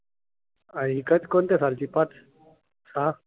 आणि कोणत्या सालची? पाच? सहा?